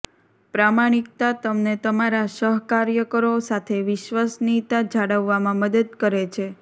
પ્રમાણિકતા તમને તમારા સહકાર્યકરો સાથે વિશ્વસનીયતા જાળવવામાં મદદ કરે છે